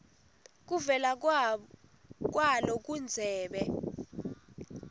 kuvela kwalo kundzebe